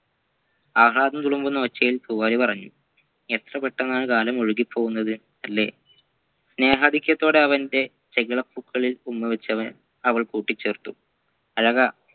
ആഹ്ളാദം തുളുമ്പുന്ന ഒച്ചയിൽ പൂവാലി പറഞ്ഞു എത്രപെട്ടന്നാണ് കാലം ഒഴുകിപോവുന്നത് അല്ലേ സ്നേഹാധിക്യത്തോടെ അവൻ്റെ ചെകിള പൂക്കളിൽ ഉമ്മവെച്ചു അവ അവൾ കൂട്ടിച്ചേർത്തു അഴകാ